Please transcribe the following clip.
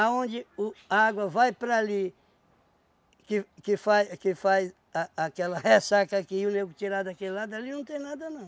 o a água vai para ali, que que faz que faz a aquela ressaca aqui e o nego tirar daquele lado, ali não tem nada não.